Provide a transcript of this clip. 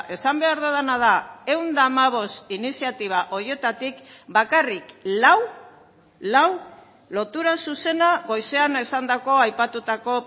esan behar dudana da ehun eta hamabost iniziatiba horietatik bakarrik lau lau lotura zuzena goizean esandako aipatutako